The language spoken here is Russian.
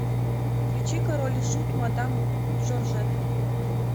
включи король и шут мадам жоржетт